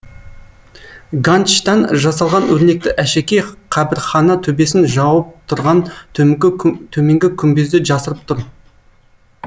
ганчтан жасалған өрнекті әшекей қабірхана төбесін жауып тұрған төменгі күмбезді жасырып тұр